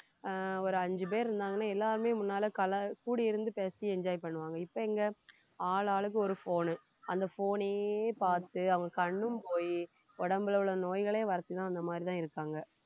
ஆஹ் ஒரு அஞ்சு பேர் இருந்தாங்கன்னா எல்லாருமே முன்னாலே கல~ கூடி இருந்து பேசி enjoy பண்ணுவாங்க இப்ப இங்க ஆளாளுக்கு ஒரு phone உ அந்த phone யே பார்த்து அவங்க கண்ணும் போயி உடம்புல உள்ள நோய்களையும் வரிச்சுதான் அந்த மாதிரிதான் இருக்காங்க